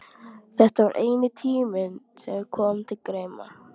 Þetta var eini tíminn sem kom til greina.